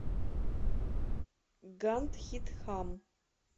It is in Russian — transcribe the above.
гандхидхам